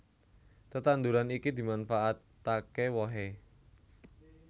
Tetanduran iki dimanfaataké wohé